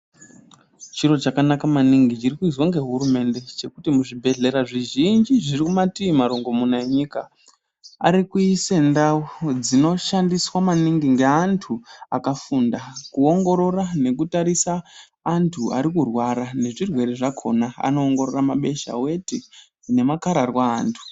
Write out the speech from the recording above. Chiro chakanaka maningi chirikuizwa ngehurumende chekuti muzvibhehlera zvizhinji zviri mumatii marongomuna enyika arikuise ndau dzinoshandiswa maningi ngeanhu akafunda kuongorora nekutarise antu arikurwara nezvirwere zvakona anoongororora mabesha ,weti nemakararwa eantu.